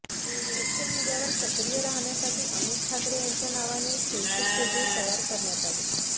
social मीडियावर सक्रीय राहण्यासाठी अमित ठाकरे यांच्या नावाने एक फेसबुक पेजही तयार करण्यात आले